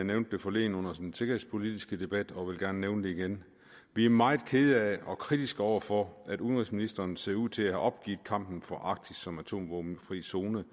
nævnte det forleden under den sikkerhedspolitiske debat og vil gerne nævne det igen vi er meget kede af og kritiske over for at udenrigsministeren ser ud til at have opgivet kampen for arktis som atomvåbenfri zone